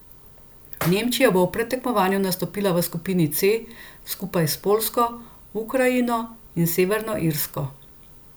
Nemčija bo v predtekmovanju nastopila v skupini C skupaj s Poljsko, Ukrajino in Severno Irsko.